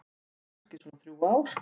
Kannski svona þrjú ár.